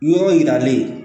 Yɔrɔ yiralen